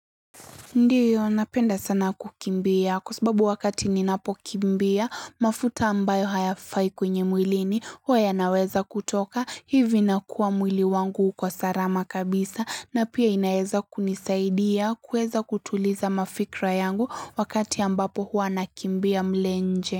Ndiyo napenda sana kukimbia kwa sababu wakati ninapo kimbia mafuta ambayo hayafai kwenye mwilini, huwa yanaweza kutoka, hivi na kuwa mwili wangu kwa sarama kabisa, na pia inaeza kunisaidia kuweza kutuliza mafikra yangu, wakati ambapo huwa nakimbia mle nje.